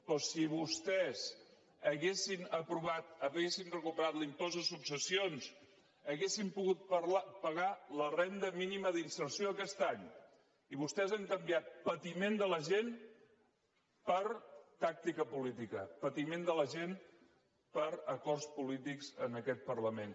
però si vostès haguessin aprovat haguessin recuperat l’impost de successions haurien pogut pagar la renda mínima d’inserció aquest any i vostès han canviat patiment de la gent per tàctica política patiment de la gent per acords polítics en aquest parlament